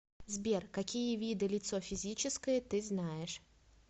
сбер какие виды лицо физическое ты знаешь